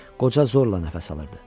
Qoca zorla nəfəs alırdı.